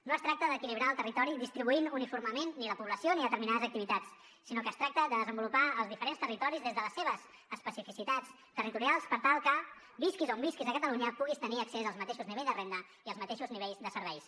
no es tracta d’equilibrar el territori distribuint uniformement ni la població ni determinades activitats sinó que es tracta de desenvolupar els diferents territoris des de les seves especificitats territorials per tal que visquis on visquis a catalunya puguis tenir accés als mateixos nivells de renda i als mateixos nivells de serveis